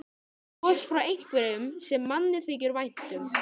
Bros frá einhverjum sem manni þykir vænt um.